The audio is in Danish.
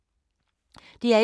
DR1